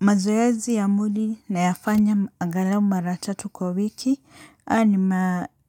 Mazoezi ya mwili nayafanya angalau mara tatu kwa wiki, ani